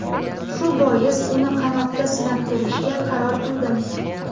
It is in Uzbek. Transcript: Shu bois uni qanotda sinab ko‘rishga qaror qildim.